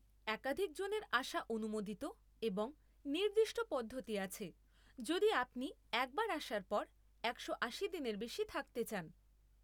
একাধিক জনের আসা অনুমোদিত এবং নির্দিষ্ট পদ্ধতি আছে যদি আপনি একবার আসার পর, একশো আশি দিনের বেশি থাকতে চান।